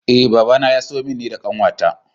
Eh babana ya siyo min ni da kanwata.